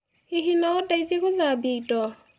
Hihi no ũndeithie gũthambia indo?